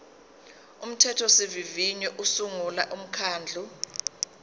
umthethosivivinyo usungula umkhandlu